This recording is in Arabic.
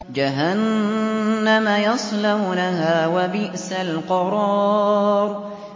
جَهَنَّمَ يَصْلَوْنَهَا ۖ وَبِئْسَ الْقَرَارُ